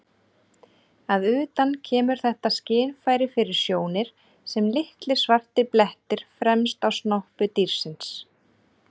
Að utan kemur þetta skynfæri fyrir sjónir sem litlir svartir blettir fremst á snoppu dýrsins.